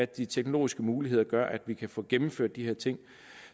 de teknologiske muligheder der gør at vi kan få gennemført de her ting